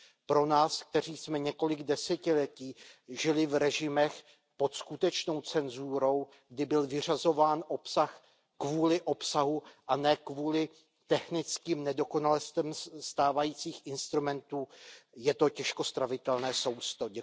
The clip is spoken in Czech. Pro nás, kteří jsme několik desetiletí žili v režimech pod skutečnou cenzurou, kdy byl vyřazován obsah kvůli obsahu a ne kvůli technickým nedokonalostem stávajících instrumentů, je to těžko stravitelné sousto.